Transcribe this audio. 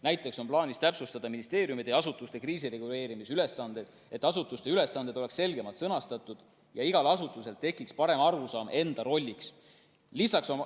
Näiteks on plaanis täpsustada ministeeriumide ja asutuste kriisireguleerimisülesandeid, et asutuste ülesanded oleksid selgemalt sõnastatud ja igal asutusel tekiks parem arusaam enda rollist.